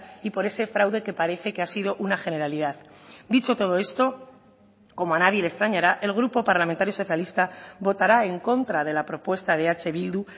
y por ese fraude que parece que ha sido una generalidad dicho todo esto como a nadie le extrañara el grupo parlamentario socialista votará en contra de la propuesta de eh bildu